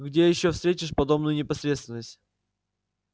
где ещё встретишь подобную непосредственность